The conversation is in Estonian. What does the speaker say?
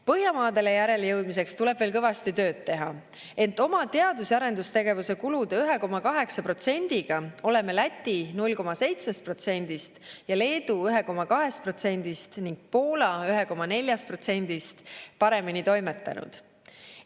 Põhjamaadele järele jõudmiseks tuleb veel kõvasti tööd teha, ent oma teadus‑ ja arendustegevuse kulude 1,8%-ga oleme Läti 0,7%-st, Leedu 1,2%-st ning Poola 1,4%-st paremini toimetanud.